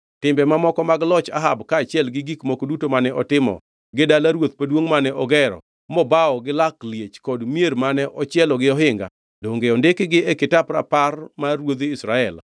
Timbe mamoko mag loch Ahab kaachiel gi gik moko duto mane otimo, gi dala ruoth maduongʼ mane ogero mobawo gi lak liech kod mier mane ochielo gi ohinga, donge ondikgi e kitap rapar mar ruodhi Israel?